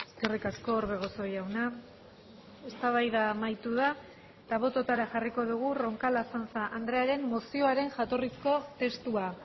eskerrik asko orbegozo jauna eztabaida amaitu da eta bototara jarriko dugu roncal azanza andrearen mozioaren jatorrizko testua